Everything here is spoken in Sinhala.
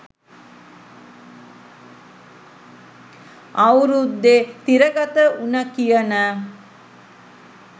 අවුරුද්දෙ තිරගත වුන කියන